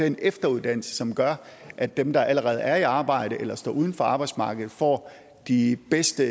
en efteruddannelse som gør at dem der allerede er i arbejde eller står uden for arbejdsmarkedet får de bedste